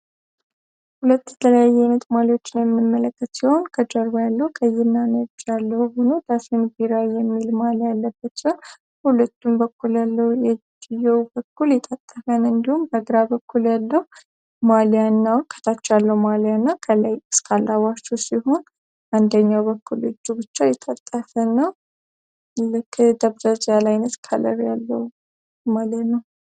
ሁለት ለ ይሜት ማሊዎችን የሚመለከት ሲሆን ከጀርባ ያለው ቀይና ንያለው ሆኑ ዳሴን ቢራ የሚል ማሊያ ያለበትን ሁለቱም በኩል ያለው የድየው በኩል የታጠፈን እንዲሁም በግራ በኩል ያለው ማሊያ እናው ከታቻ ያለው ማሊያ እና ከላይ እስከአላዋቹ ሲሆን አንደኛው በኩል እጁ ብቻ የታጠፈ ነው ክ ደብዘዝ ያላይነት ካለር ያለው ማለ ነው